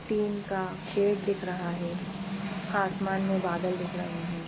Tin का shed दिख रहा है आसमान में बादल दिखमें।